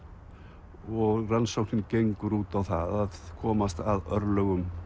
og rannsóknin gengur út á það að komast að örlögum